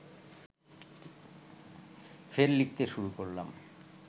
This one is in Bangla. ফের লিখতে শুরু করলাম